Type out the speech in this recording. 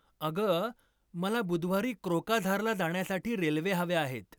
अगं मला बुधवारी कोक्राझारला जाण्यासाठी रेल्वे हव्या आहेत